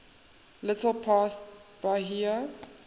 little past bahia